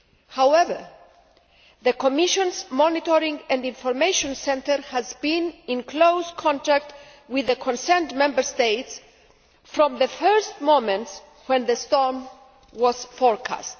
However, the Commission's Monitoring and Information Centre has been in close contact with the concerned Member States from the first moments when the storm was forecast.